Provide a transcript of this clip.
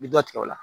I bɛ dɔ tigɛ o la